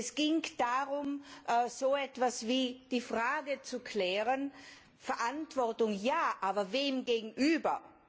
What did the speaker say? Es ging darum, so etwas wie die Frage zu klären Verantwortung ja, aber wem gegenüber?